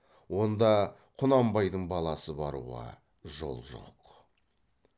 онда құнанбайдың баласы баруға жол жоқ